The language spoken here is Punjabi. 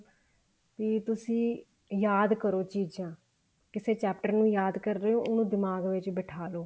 ਵੀ ਤੁਸੀਂ ਯਾਦ ਕਰੋ ਚੀਜ਼ਾਂ ਕਿਸੇ chapter ਨੂੰ ਯਾਦ ਕਰ ਰਹੇ ਓ ਉਹਨੂੰ ਦਿਮਾਗ ਵਿੱਚ ਬੈਠਾ ਲੋ